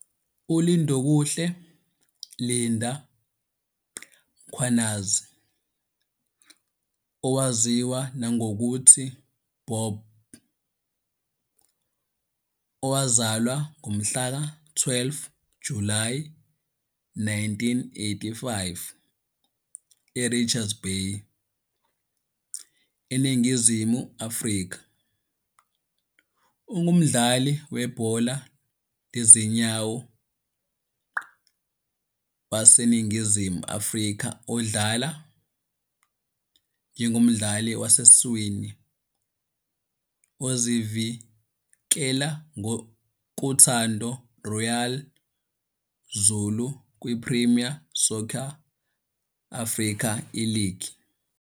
ULindokuhle "Linda" Mkhwanazi, owaziwa nangokuthi "Bob", owazalwa ngomhlaka 12 Julayi 1985 eRichards Bay, eNingizimu Afrika, ungumdlali webhola lezinyawo waseNingizimu Afrika odlala njengomdlali wasesiswini ozivikela kuThanda Royal Zulu kwiPremier Soccer Africa Iligi.